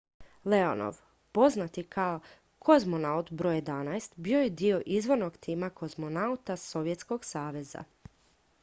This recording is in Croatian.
"leonov poznat i kao "kozmonaut br. 11" bio je dio izvornog tima kozmonauta sovjetskog saveza.